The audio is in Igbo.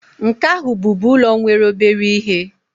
nke ahu bubu ulo nwere obere ihe